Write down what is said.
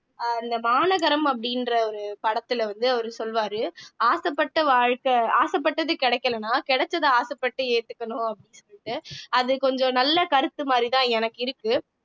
ஆஹ் இந்த மாநகரம் அப்படின்ற ஒரு படத்துல வந்து அவரு சொல்வாரு ஆசைப்பட்ட வாழ்க்கை ஆசைப்பட்டது கிடைக்கலைன்னா கிடைச்சதை ஆசைப்பட்டு ஏத்துக்கணும் அப்படின்னு சொல்லிட்டு அது கொஞ்சம் நல்ல கருத்து மாதிரிதான் எனக்கு இருக்கு